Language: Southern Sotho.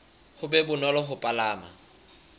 ho be bonolo ho palama